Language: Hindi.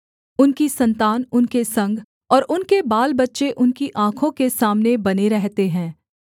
उनकी सन्तान उनके संग और उनके बालबच्चे उनकी आँखों के सामने बने रहते हैं